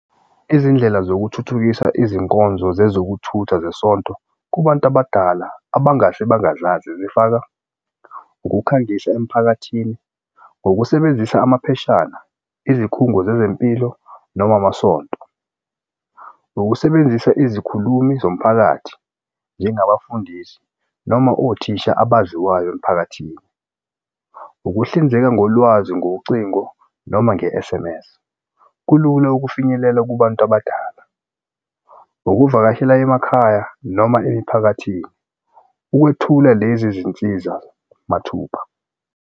Izindlela zokuthuthukisa izinkonzo zezokuthutha zesonto kubantu abadala abangase bangazazi zifaka ukukhangisa emphakathini ngokusebenzisa amapheshana izikhungo zezempilo noma amasonto. Ukusebenzisa izikhulumi zomphakathi njengabafundisi noma othisha abaziwayo emphakathini. Ukuhlinzeka ngolwazi ngocingo noma nge-S_M_S. Kulula ukufinyelela kubantu abadala ukuvakashela emakhaya noma emiphakathini ukwethula lezi zinsiza mathupha.